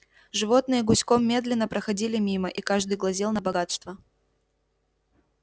животные гуськом медленно проходили мимо и каждый глазел на богатства